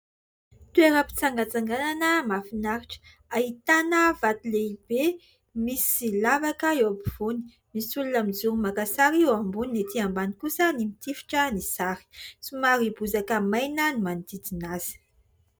Toeram-pitsangantsanganana mahafinaritra ahitana vato lehibe misy lavaka eo ampovoany ; misy olona mijoro maka sary eo ambony, etỳ ambany kosa ny mitifitra ny sary. Somary bozaka maina ny manodidina azy.